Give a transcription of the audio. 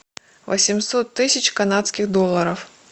восемьсот тысяч канадских долларов